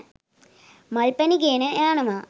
මල් පැණි ගෙන යනවා.